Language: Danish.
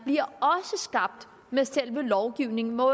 bliver skabt med selve lovgivningen hvor